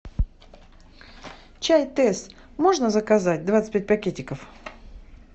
чай тесс можно заказать двадцать пять пакетиков